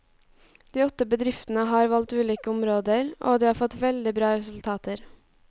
De åtte bedriftene har valgt ulike områder, og de har fått veldig bra resultater.